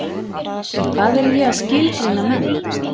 En hvað er ég að skilgreina menn?